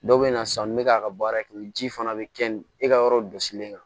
Dɔw bɛ na sanni bɛ k'a ka baara kɛ ji fana bɛ kɛ ni e ka yɔrɔ gosilen kan